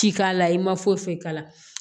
Ci k'a la i ma foyi foyi k'a la